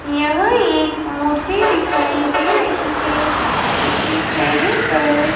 यहां एक मूर्ति दिखाई दे रही हैं जिसके चेहरे पर--